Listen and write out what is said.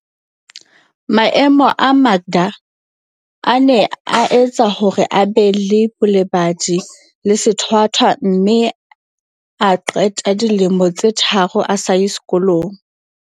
Maemo a Makda a ne a etsa hore a be le bolebadi le sethwa thwa mme a qeta dilemo tse tharo a sa ye sekolong.